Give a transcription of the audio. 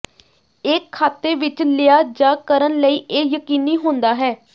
ਇਹ ਖਾਤੇ ਵਿੱਚ ਲਿਆ ਜਾ ਕਰਨ ਲਈ ਇਹ ਯਕੀਨੀ ਹੁੰਦਾ ਹੈ